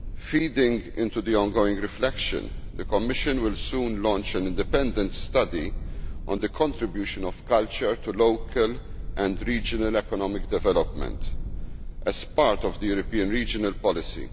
Feeding into the ongoing reflection, the Commission will soon launch an independent study on the contribution of culture to local and regional economic development as part of the European regional policy.